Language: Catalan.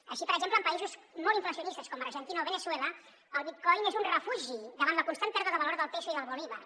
així per exemple en països molt inflacionistes com argentina o veneçuela el bitcoin és un refugi davant la constant pèrdua de valor del peso i del bolívar